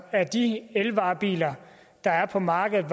af de elvarebiler der er på markedet